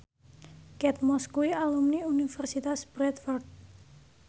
Kate Moss kuwi alumni Universitas Bradford